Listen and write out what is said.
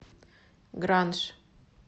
гранж